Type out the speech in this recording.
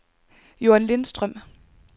Joan Lindstrøm